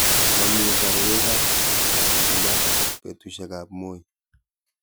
mamii boryekab Alshabaab betusiekab Moi